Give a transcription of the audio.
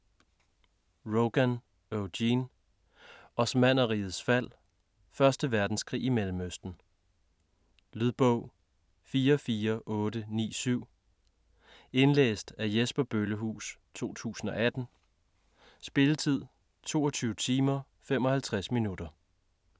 Rogan, Eugene: Osmannerrigets fald: første verdenskrig i Mellemøsten Lydbog 44897 Indlæst af Jesper Bøllehuus, 2018. Spilletid: 22 timer, 55 minutter.